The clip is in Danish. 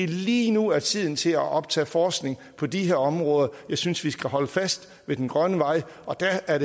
det lige nu er tiden til at optage forskning på de her områder jeg synes vi skal holde fast i den grønne vej og der er